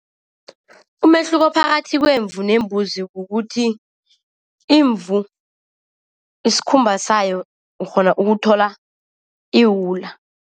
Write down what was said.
Umehluko phakathi kwemvu nembuzi kukuthi imvu isikhumba sayo ukghona ukuthola iwula.